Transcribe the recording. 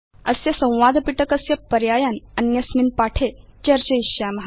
अस्य संवादपिटकस्य पर्यायान् अन्यस्मिन् पाठे चर्चयिष्याम